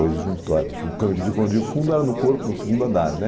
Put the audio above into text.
foi um cano que ficou de fundo era no corpo, no segundo andar, né?